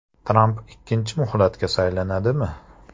Tramp ikkinchi muhlatga saylanadimi?